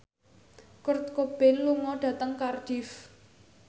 Kurt Cobain lunga dhateng Cardiff